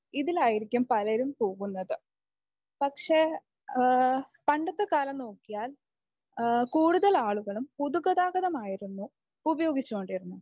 ഇതിലായിരിക്കും പലരും പോകുന്നത്. പക്ഷേ അഹ് പണ്ടത്തെ കാലം നോക്കിയാൽ കൂടുതൽ ആളുകളും പൊതുഗതാഗതം ആയിരുന്നു ഉപയോഗിച്ചു കൊണ്ടിരുന്നത്.